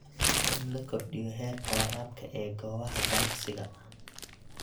In la kordhiyo heerka waraabka ee goobaha ganacsiga.